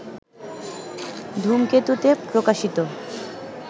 ধূমকেতুতে প্রকাশিত